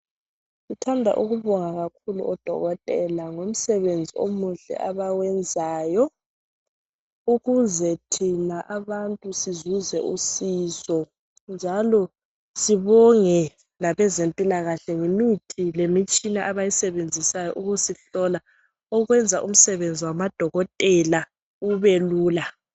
Sithanda ukubonga kakhulu odokotela ngomsebenzi omuhle abawenzayo ukuze thina abantu sizuze usizo. Njalo sibonge labezempilakahle ngemithi lemitshina abayisebenzisayo ukusihlola okwenza umsebenzi wamadokotela ubelula.